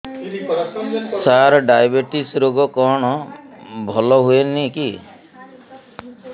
ସାର diabetes ରୋଗ କଣ ଭଲ ହୁଏନି କି